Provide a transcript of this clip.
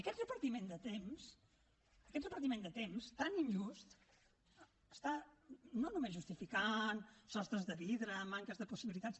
aquest repartiment de temps aquest repartiment de temps tan injust està no només justificant sostres de vidre manques de possibilitats